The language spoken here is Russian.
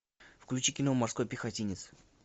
включи кино морской пехотинец